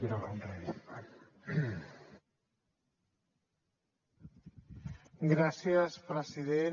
gràcies president